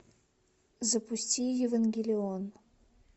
запусти евангелион